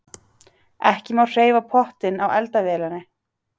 Ekki má hreyfa pottinn á eldavélinni.